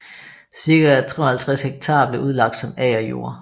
Cirka 350 ha blev udlagt som agerjord